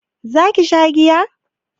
za ki sha giya?